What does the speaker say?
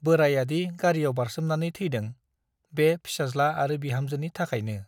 बोराइयादि गारीयाव बारसोमनानै थैदों- बे फिसाज्ला आरो बिहामजोनि थाखायनो ।